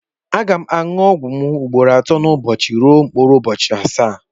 Aga m aṅụ ọgwụ m ugboro atọ n'ụbọchị ruo mkpụrụ ụbọchị asaa.